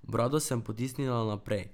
Brado sem potisnila naprej.